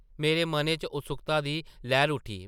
मेरे मनै च उत्सुक्ता दी लैह्र उट्ठी ।